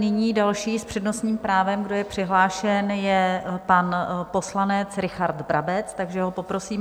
Nyní další s přednostním právem, kdo je přihlášen, je pan poslanec Richard Brabec, takže ho poprosím.